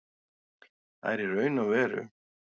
Það er í raun og veru